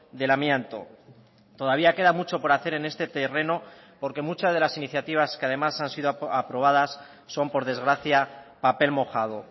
del amianto todavía queda mucho por hacer en este terreno porque muchas de las iniciativas que además han sido aprobadas son por desgracia papel mojado